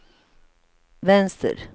vänster